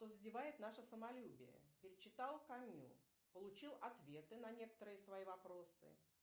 задевает наше самолюбие перечитал камю получил ответы на некоторые свои вопросы